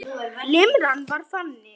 Limran var þannig